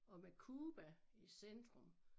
Og med Cuba i centrum